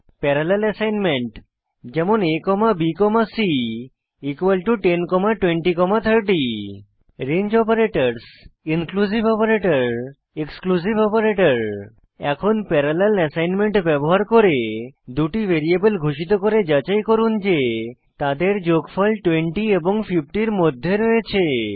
parallel assignment যেমন abc102030 range operators inclusive operator এবং exclusive operator এখন প্যারালেল অ্যাসাইনমেন্ট ব্যবহার করে দুটি ভ্যারিয়েবল ঘোষিত করে যাচাই করুন যে তাদের যোগফল 20 এবং 50 এর মধ্যে রয়েছে